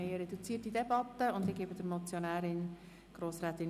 Wir führen eine reduzierte Debatte, und ich gebe der Motionärin das Wort.